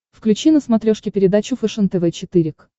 включи на смотрешке передачу фэшен тв четыре к